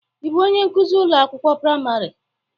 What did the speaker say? Ị bụ onye nkuzi ụlọ akwụkwọ praịmarị?